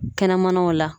Kɛnɛmanaw la